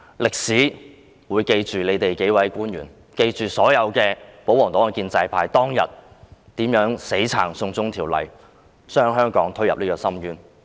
歷史會記住這數位官員，記住所有保皇黨和建制派議員當天如何死挺"送中"法例，把香港推進深淵。